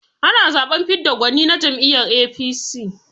Ana zaɓen fidda gwani na jam'iyyar APC.